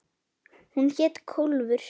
Hún hét Kólfur.